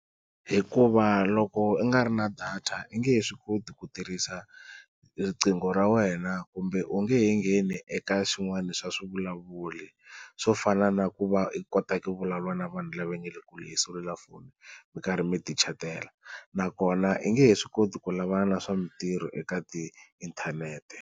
Hikuva loko u nga ri na data i nge he swi koti ku tirhisa riqingho ra wena kumbe u nge he ngheni eka swin'wana swa swivulavuri, swo fana na ku va u kota ku vulavula na vanhu lava nga le kule hi selulafoni mi karhi mi ti chatela nakona i nge he swi koti ku lavana na swa mintirho eka tiinthanete.